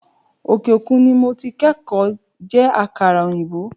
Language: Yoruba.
òkè òkun ni mo ti kókó je àkàrà òyìnbó